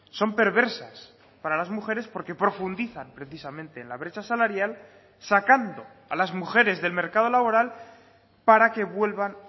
son perversas para las mujeres porque profundizan precisamente en la brecha salarial sacando a las mujeres del mercado laboral para que vuelvan